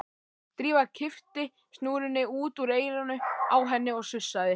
Drífa kippti snúrunni út úr eyranu á henni og sussaði.